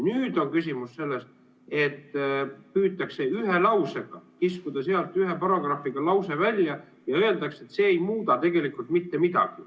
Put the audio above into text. Nüüd on küsimus selles, et püütakse kiskuda sealt ühe paragrahviga lause välja ja öeldakse, et see ei muuda tegelikult mitte midagi.